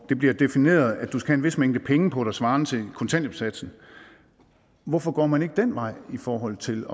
det bliver defineret at du skal have en vis mængde penge på dig svarende til kontanthjælpssatsen hvorfor går man ikke den vej i forhold til